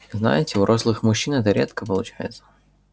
знаете у рослых мужчин это редко получается